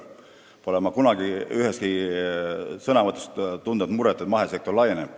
Ma pole kunagi üheski sõnavõtus tundnud muret selle üle, et mahesektor laieneb.